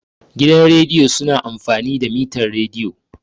Gidan rediyo su na amfani da mitar rediyo